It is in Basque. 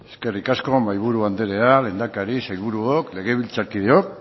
eskerrik asko mahaiburu andrea lehendakari sailburuok legebiltzarkideok